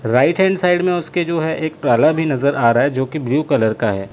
Right hand side में उसके जो है एक ताला भी नजर आ रहा है जो की ब्लू कलर का है।